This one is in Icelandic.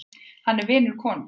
Hann er vinur konungs.